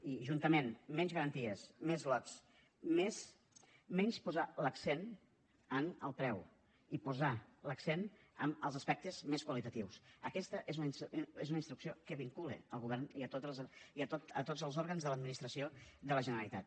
i juntament menys garanties més lots menys posar l’accent en el preu i posar l’accent en els aspectes més qualitatius aquesta és una instrucció que vincula el govern i tots els òrgans de l’administració de la generalitat